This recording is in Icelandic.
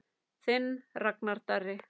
Þinn Ragnar Darri.